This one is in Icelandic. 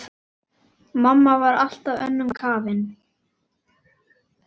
Mamma var alltaf önnum kafin.